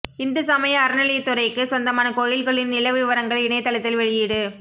இந்து சமய அறநிலையத்துறைக்கு சொந்தமான கோயில்களின் நில விவரங்கள் இணையதளத்தில் வெளியீடு